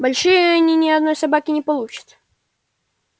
большие они ни одной собаки не получат